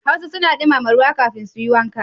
Hausa suna dumama ruwa kafin su yi wanka.